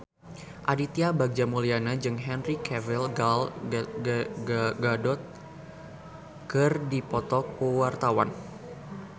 Aditya Bagja Mulyana jeung Henry Cavill Gal Gadot keur dipoto ku wartawan